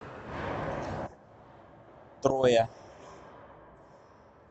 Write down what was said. троя